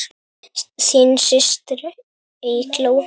Þín systir, Eygló.